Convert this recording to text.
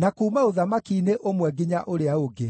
na kuuma ũthamaki-inĩ ũmwe nginya ũrĩa ũngĩ.